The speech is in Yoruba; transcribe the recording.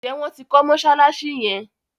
Njé wón tí kò Mossalassi yén?